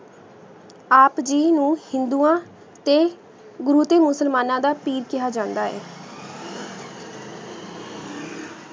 ਆਪ ਜੀ ਨੂ ਹਿੰਦੁਵਾ ਤੇ ਗੁਰੂ ਤੇ ਮੁਸਲਮਾਨਾ ਦਾ ਪੀਰ ਕਹਿਆ ਜਾਂਦਾ ਐ